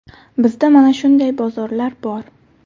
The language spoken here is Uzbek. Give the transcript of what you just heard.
Bizda mana shunday bozorlar bor.